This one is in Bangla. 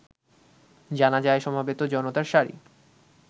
জানাজায় সমবেত জনতার সারি